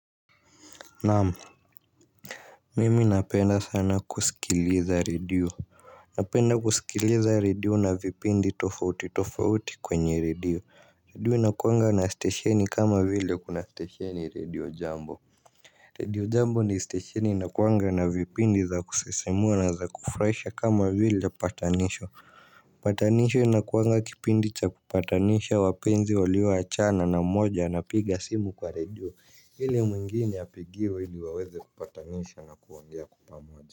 Naamu. Mimi napenda sana kusikilitha redio. Napenda kusikiliza redio na vipindi tofauti tofauti kwenye redio. Redio inakuwanga na stesheni kama vile kuna stesheni redio jambo Radio jambo ni stesheni inakuwanga na vipindi za kusisimua na za kufraisha kama vile patanisho patanisho na kuanga kipindi cha kupatanisha wapenzi walio achana na moja ana piga simu kwa radio hili mwingine apigiwe hili waweze kupatanishwa na kuongea kwa pamoja.